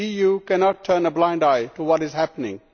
The EU cannot turn a blind eye to what is happening.